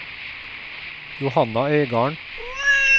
Johanna Øygarden